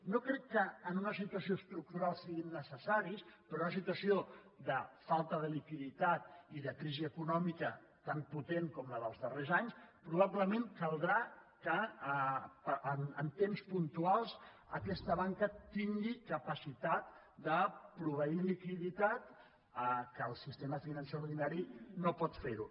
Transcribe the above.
no crec que en una situació estructural siguin necessaris però en una situació de falta de liquiditat i de crisi econòmica tan potent com la dels darrers anys probablement caldrà que en temps puntuals aquesta banca tingui capacitat de proveir liquiditat que el sistema financer ordinari no pot fer ho